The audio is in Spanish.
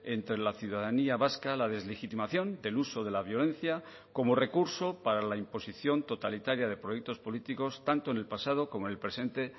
entre la ciudadanía vasca la deslegitimación del uso de la violencia como recurso para la imposición totalitaria de proyectos políticos tanto en el pasado como el presente